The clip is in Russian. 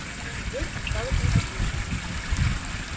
дверь осталась неподвижной